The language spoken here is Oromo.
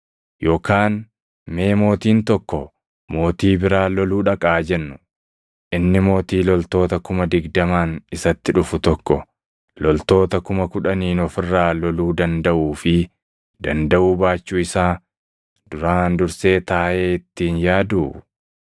“Yookaan mee mootiin tokko mootii biraa loluu dhaqa haa jennuu; inni mootii loltoota kuma digdamaan isatti dhufu tokko loltoota kuma kudhaniin of irraa loluu dandaʼuu fi dandaʼuu baachuu isaa duraan dursee taaʼee itti hin yaaduu?